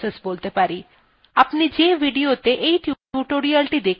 আপনি the videoত়ে এই tutorial দেখছেন সেটিও একটি process